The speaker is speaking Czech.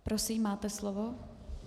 Prosím, máte slovo.